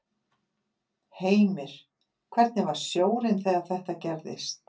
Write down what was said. Heimir: Hvernig var sjórinn þegar þetta gerðist?